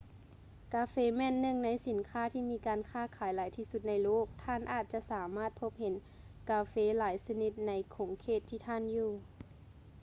ກາເຟແມ່ນໜຶ່ງໃນສິນຄ້າທີ່ມີການຄ້າຂາຍຫຼາຍທີ່ສຸດໃນໂລກ ແລະ ທ່ານອາດຈະສາມາດພົບເຫັນກາເຟຫຼາຍຊະນິດໃນຂົງເຂດທີ່ທ່ານຢູ່